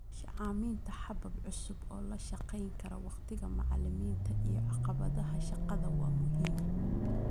Sahaminta habab cusub oo la shaqayn kara wakhtiga macallimiinta iyo caqabadaha shaqada waa muhiim.